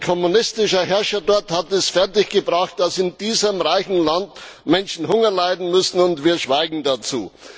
Ein kommunistischer Herrscher hat es dort fertiggebracht, dass in diesem reichen Land Menschen Hunger leiden müssen, und wir schweigen dazu.